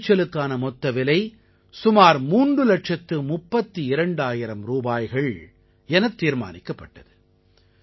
விளைச்சலுக்கான மொத்த விலை சுமார் மூன்று இலட்சத்து முப்பத்தி இரண்டாயிரம் ரூபாய்கள் எனத் தீர்மானிக்கப்பட்டது